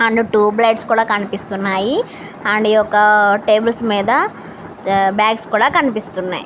And two plates కూడా కనిపిస్తున్నాయి. And ఈ ఒక్క టేబుల్స్ మీద బ్యాగ్స్ కూడా కనిపిస్తున్నాయి.